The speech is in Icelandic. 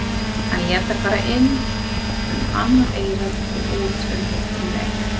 Hann lét þær fara inn um annað eyrað og út um hitt um leið.